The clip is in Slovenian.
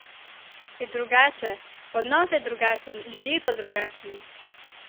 Je drugače, odnos je drugačen, ljudje so drugačni!